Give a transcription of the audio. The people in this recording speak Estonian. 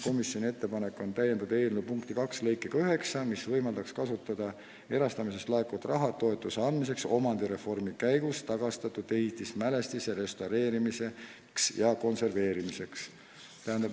Komisjoni ettepanek on täiendada eelnõu punkti 2 lõikega 9, mis võimaldaks kasutada erastamisest laekuvat raha toetuse andmiseks omandireformi käigus tagastatud ehitismälestiste restaureerimiseks ja konserveerimiseks.